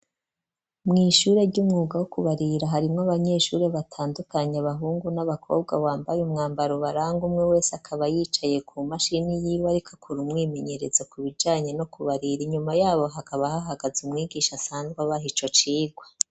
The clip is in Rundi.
Mw ishure ry'umwuga wo kubarira harimwo abanyeshuri batandukanye abahungu n'abakobwa wambaye umwambaro baranga umwe wese akaba yicaye ku mashini y'iwe ariko akora umwimenyereza ku bijanye no kubarira inyuma yabo hakaba hahagaze umwigisha asanzwe abaha icocirwa.